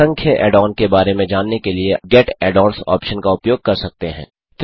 आप असंख्य add on के बारे में जानने के लिए गेट add ओन्स ऑप्शन का उपयोग कर सकते हैं